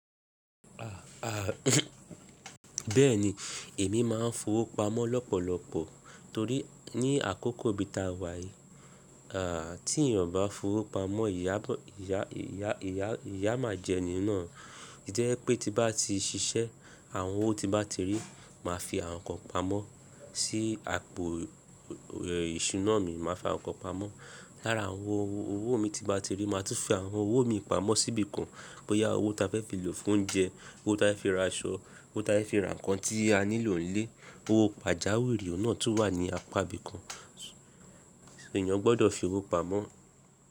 Ah, ah, bẹ́ẹ̀ni, èmi máa ń fowópamọ́ lọ́pọ̀lọpọ̀ torí ní àkókò bí ta wà yí, ah, tí ènìyàn bá fowópamọ́, ìyá, ìyá, ìyá, ìyá máa jẹ e nínàa jẹ́ pé tí bá ti ṣiṣẹ́, àwọn owó tí bá ti rí, màá fi àwọn nǹkan pamọ́. Sí àpò, ẹ, ìṣúná mi, màá fi àwọn nǹkan pamọ́. Lára àwọn owó mi tí bá ti rí, màá tún fi àwọn owó mi pamọ́ sí ibìkan bóyá owó ta fẹ́ fi lò fún oúnjẹ, owó ta fẹ́ fi ra aṣọ, owó ta fẹ́ fi ra nǹkan tí a nílò nílé. Owó pàjáwìrì náà tún wà ní apá ibìkan. Ṣé ènìyàn gbọdọ̀ fowópamọ́?